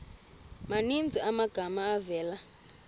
maninzi amagama avela